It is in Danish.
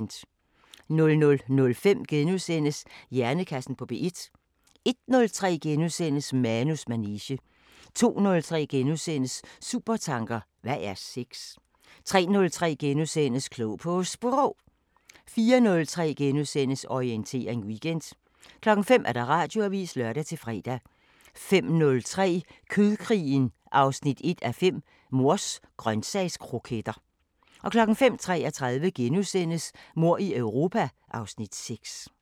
00:05: Hjernekassen på P1 * 01:03: Manus manege * 02:03: Supertanker: Hvad er sex? * 03:03: Klog på Sprog * 04:03: Orientering Weekend * 05:00: Radioavisen (lør-fre) 05:03: Kødkrigen 1:5 – Mors grøntsagskroketter 05:33: Mord i Europa (Afs. 6)*